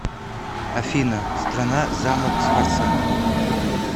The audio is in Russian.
афина страна замок сфорца